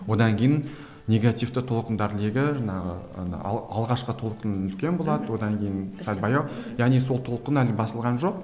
одан кейін негативті толқындар легі жаңағы алғашқы толқын үлкен болады одан кейін сәл баяу яғни сол толқын әлі басылған жоқ